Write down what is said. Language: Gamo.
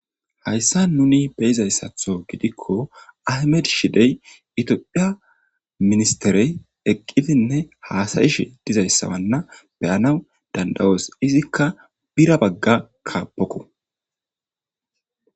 Ha isan nuni be'iza misile gidiko aymetti shide, tophphiya ministere eqqidinne haasayishe de'iza issa gannawu dandayoos, izikka bira bangga kabboko.